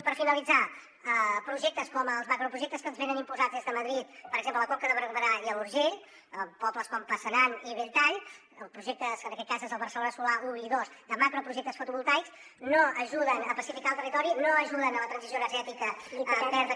per finalitzar projectes com els macroprojectes que ens venen imposats des de madrid per exemple a la conca de barberà i a l’urgell en pobles com passanant i belltall o projectes com en aquest cas són el barcelona solar un i dos macroprojectes fotovoltaics no ajuden a pacificar el territori no ajuden a la transició energètica verda